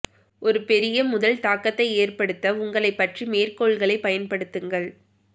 ஒரு பெரிய முதல் தாக்கத்தை ஏற்படுத்த உங்களைப் பற்றி மேற்கோள்களைப் பயன்படுத்துங்கள்